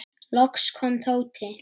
Loks kom Tóti.